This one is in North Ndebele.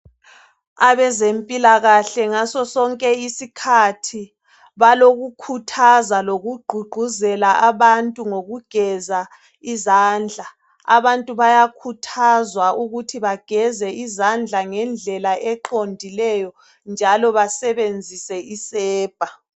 Abezempilakahle ngaso sonke isikhathi balokukhuthaza lokugqugquzela abantu ngokugeza izandla abantu bayakhuthazwa ukuthi bageze izandla ngendlela eqondileyo njalo basebenzise isepa.